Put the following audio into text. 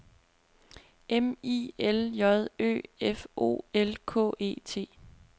M I L J Ø F O L K E T